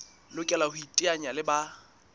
lokela ho iteanya le ba